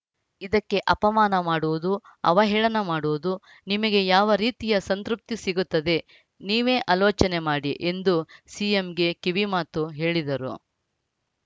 ಇದಕ್ಕೆ ಅಪಮಾನ ಮಾಡುವುದು ಅವಹೇಳನ ಮಾಡುವುದು ನಿಮಗೆ ಯಾವ ರೀತಿಯ ಸಂತೃಪ್ತಿ ಸಿಗುತ್ತದೆ ನೀವೇ ಅಲೋಚನೆ ಮಾಡಿ ಎಂದು ಸಿಎಂಗೆ ಕಿವಿ ಮಾತು ಹೇಳಿದರು